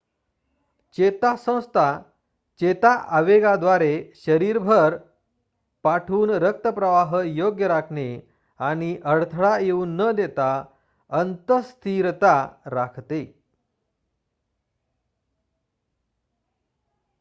चेता संस्था चेता आवेगाद्वारे शरीरभर पाठवून रक्तप्रवाह योग्य राखणे आणि अडथळा येऊ न देता अंत:स्थितीस्थिरता राखते